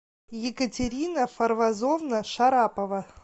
екатерина фарвазовна шарапова